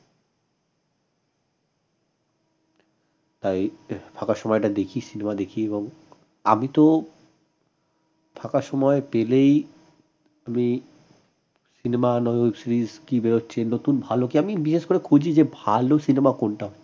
তাই ফাকা সময়টা দেখি cinema দেখি এবং আমি তো ফাঁকা সময় পেলেই আমি cinema নয় web series কী বেরােচ্ছে নতুন কী আমি বিশেষ করে খুঁজি যে ভাল cinema কোনটা